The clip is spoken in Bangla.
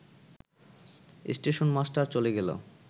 স্টেশনমাস্টার চলে গেল